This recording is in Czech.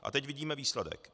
A teď vidíme výsledek.